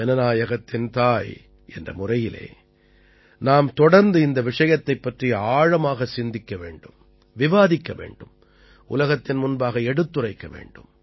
ஜனநாயகத்தின் தாய் என்ற முறையிலே நாம் தொடர்ந்து இந்த விஷயத்தைப் பற்றி ஆழமாகச் சிந்திக்க வேண்டும் விவாதிக்க வேண்டும் உலகத்தின் முன்பாக எடுத்துரைக்க வேண்டும்